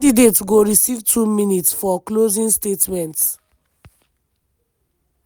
candidates go receive two minutes for closing statements.